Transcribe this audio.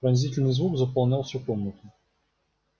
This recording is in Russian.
пронзительный звук заполнял всю комнату